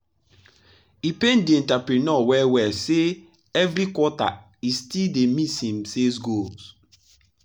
e pain the entrepreneur well well say say every quarter e still dey miss him sales goal.